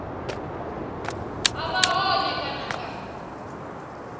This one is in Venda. ha vha hone kana nga